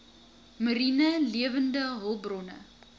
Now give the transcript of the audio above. mariene lewende hulpbronne